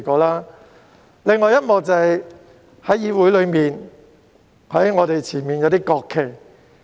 另一幕便是關於議會內放在我們前面的國旗。